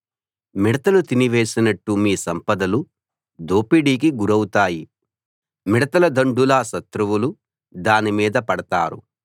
మిడతలు తిని వేసినట్టు మీ సంపదలు దోపిడీకి గురౌతాయి మిడతల దండులా శత్రువులు దానిమీద పడతారు